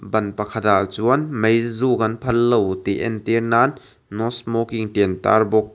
ban pakhatah chuan meizuk an phal lo tih entir nan no smoking tih an tar bawk.